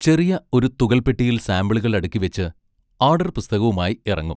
ചെറിയ ഒരു തുകൽപ്പെട്ടിയിൽ സാമ്പിളുകൾ അടുക്കിവെച്ച്, ആഡർ പുസ്തകവുമായി ഇറങ്ങും.